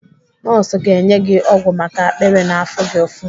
Nọọsụ ga-enye gị ọgwụ maka akpịrị na-afụ gị ụfụ.